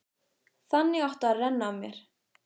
Þannig átti að renna af mér.